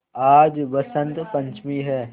आज बसंत पंचमी हैं